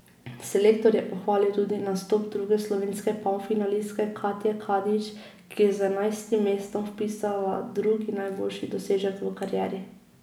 Selektor je pohvalil tudi nastop druge slovenske polfinalistke Katje Kadič, ki je z enajstim mestom vpisala drugi najboljši dosežek v karieri.